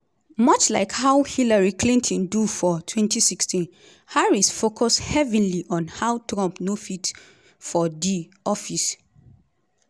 much like how hillary clinton do for 2016 harris focus heavily on how trump no fit for di office.